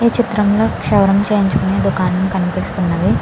ఈ చిత్రం లో క్షవరం చేయించుకునే దుకాణం కనిపిస్తునది.